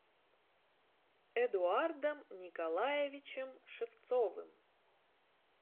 эдуардом николаевичем шевцовым